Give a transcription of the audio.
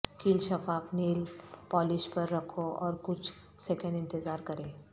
کیل شفاف nail polish پر رکھو اور کچھ سیکنڈ انتظار کریں